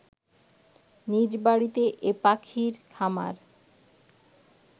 নিজ বাড়িতে এ পাখির খামার